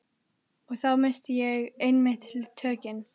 Og þá missti ég einmitt tökin.